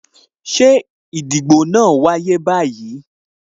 Ṣé ìdìbò náà wáyé báyìí?